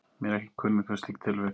Mér er ekki kunnugt um slík tilvik.